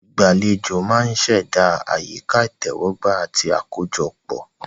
Ìgbàlejò máa ń ṣẹ̀dá àyíká ìtẹ́wọ́gbà àti àkójọpọ̀.